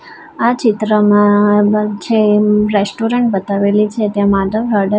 આ ચિત્રમાં જે રેસ્ટોરન્ટ બતાવેલી છે તેમા --